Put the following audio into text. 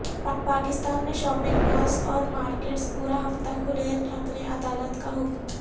پاکستان میں shopping malls اور markets پورا ہفتہ کھلے رکھنے عدالت کا حکم